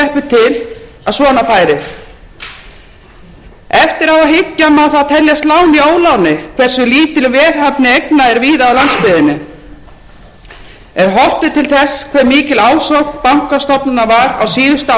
færi eftir á að hyggja má það teljast lán í óláni hversu lítil veðhæfni eigna er víða á landsbyggðinni ef horft er til þess hve mikil ásókn bankastofnana var á síðustu